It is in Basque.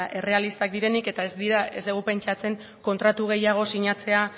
errealistak direnik eta ez dugu pentsatzen kontratu gehiago sinatzea